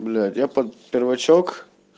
блять я под первачок